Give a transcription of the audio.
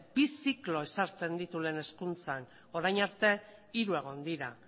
bi ziklo ezartzen ditu lehen hezkuntzan orain arte hiru egon dira